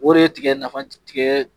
O de ye tigɛ nafa tigɛ